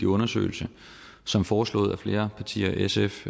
undersøgelse som foreslået af flere partier sf